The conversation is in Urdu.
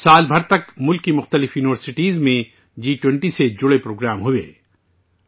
سال بھر ملک کی کئی یونیورسٹیوں میں جی 20 سے متعلق پروگرام منعقد ہوتے رہے